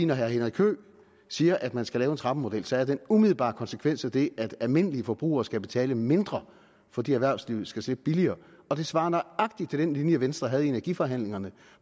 når herre henrik høegh siger at man skal lave en trappemodel så er den umiddelbare konsekvens af det at almindelige forbrugere skal betale mere fordi erhvervslivet skal slippe billigere og det svarer nøjagtigt til den linje venstre havde i energiforhandlingerne